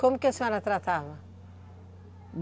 Como que a senhora tratava?